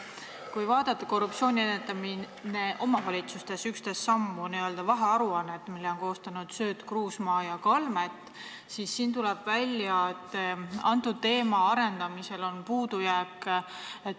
Kui vaadata n-ö vahearuannet "Korruptsiooni ennetamine omavalitsustes – 11 sammu", mille on koostanud Sööt, Kruusmaa ja Kalmet, siis tuleb välja, et selle teema arendamisel on puudujääke.